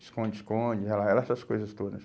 Esconde-esconde, era era essas coisas todas.